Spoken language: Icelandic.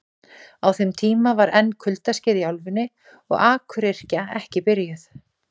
Á þeim tíma var enn kuldaskeið í álfunni og akuryrkja ekki byrjuð.